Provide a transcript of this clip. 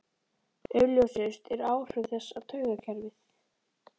Augljósust eru áhrif þess á taugakerfið.